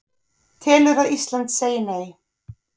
Telur að Ísland segi Nei